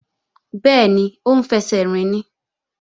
Bẹ́ẹ̀ni, ó ń fẹsẹ̀ rìn ni